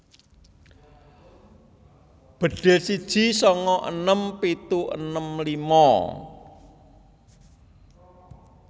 Bedhil siji sanga enem pitu enem lima